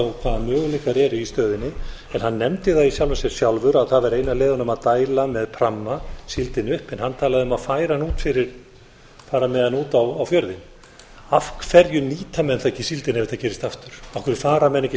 á hvaða möguleikar eru í stöðunni en hann nefndi það í sjálfu sér sjálfur að það væri ein af leiðunum að dæla með pramma síldinni upp en hann talaði að fara með hana út á fjörðinn af hverju nýta menn ekki síldina ef þetta gerist aftur af hverju fara menn ekki